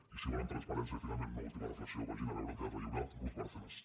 i si volen transparència finalment una última reflexió vagin a veure al teatre lliure ruz bárcenas